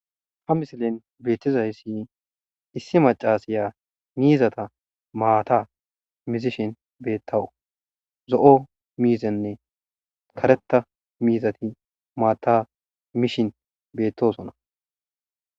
ha misilen beettizayssi issi macasiya miizata maata mizishin beettawu zo7o miizenne karetta miizati maata mishin beettosona